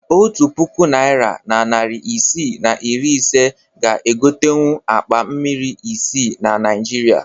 Otu puku naịra na narị isii na iri ise ga egotenwu akpa mmiri isii na Naịjirịa